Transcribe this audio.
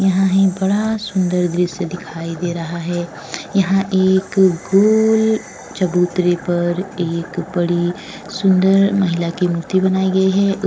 यहाँ ही बड़ा सुंदर दृश्य दिखाई दे रहा है। यहाँ एक गोल चबूतरे पर एक बड़ी सुंदर महिला की मूर्ती बनाई गई है। उस --